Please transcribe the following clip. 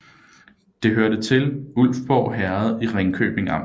Det hørte til Ulfborg Herred i Ringkøbing Amt